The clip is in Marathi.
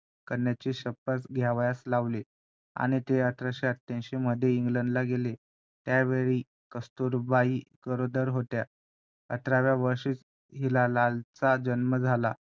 आणि त्यांच्या जीवनावरती हे त्यांच जीवनपट त्यात दाखवलं होतं .